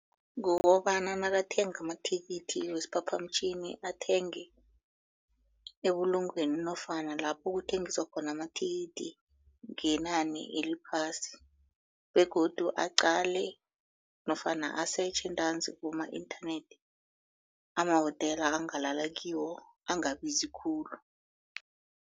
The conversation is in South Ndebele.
Kukobana nakathenga amathikithi wesiphaphamtjhini athenge ebulungweni nofana lapho kuthengiswa khona amathikithi ngenani eliphasi begodu aqale nofana asetjhe ntanzi kuboma-inthanethi amawotela angalala kiwo angabazi khulu.